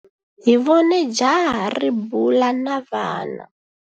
Hi vone jaha ri bula na vana.